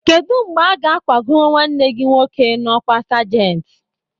Kedụ mgbe aga akwago nwanne gị nwoke n'ọkwá sergent?